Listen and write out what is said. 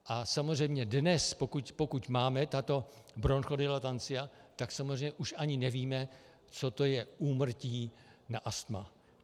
A samozřejmě dnes, pokud máme tato bronchodilatancia, tak samozřejmě už ani nevíme, co to je úmrtí na astma.